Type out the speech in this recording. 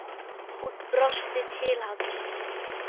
Hún brosti til hans.